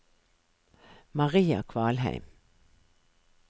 Maria Kvalheim